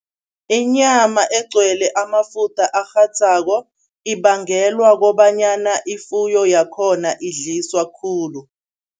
Inyama egcwele amafutha arhadzako ibagelwa kobanyana ifuyo yakhona idliswa khulu.